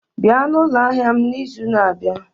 Bịa na ụlọ ahịa m n'izu na-abịa!